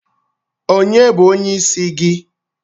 Ònye bụ onyeisi gị?